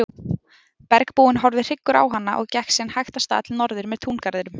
Bergbúinn horfði hryggur á hana en gekk síðan hægt af stað norður með túngarðinum.